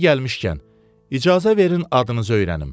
Yeri gəlmişkən, icazə verin adınızı öyrənim.